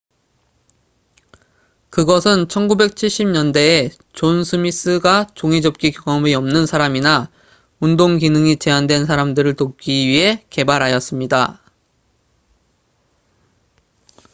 그것은 1970년대에 존 스미스가 종이접기 경험이 없는 사람이나 운동 기능이 제한된 사람들을 돕기 위해 개발하였습니다